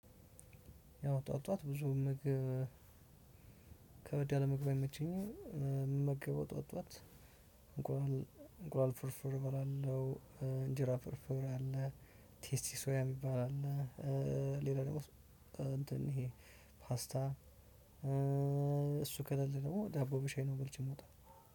ያው ጠዋት፤ ጠዋት ብዙ ምግብ ከበድ ያለ ምግብ አይመቸኝም። የምገበው ጠዋት፤ ጠዋት እንቁላል ፍርፍር እባላለሁ፤ እንጂራ ፍርፍር አለ፤ ቴስቲ ሶያ የሚባል አለ፤ ሌላ ደግሞ እንትን ይሄ ፓስታ እሱ ከሌለ ደግሞ ዳቦ በሻይ ነው በልቼ የምወጣው።